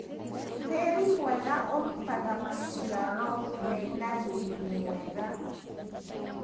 Tĩri mwega ũrutaga maciaro mena riri mwega.